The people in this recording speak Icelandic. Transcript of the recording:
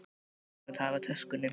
Hann er næstum búinn að tapa töskunni.